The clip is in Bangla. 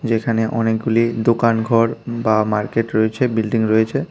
যেখানে অনেকগুলি দোকানঘর বা মার্কেট রয়েছে বিল্ডিং রয়েছে।